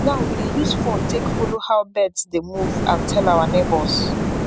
now we dey use phone take follow how birds dey move and tell our neighbours